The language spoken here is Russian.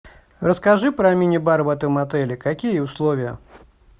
расскажи про мини бар в этом отеле какие условия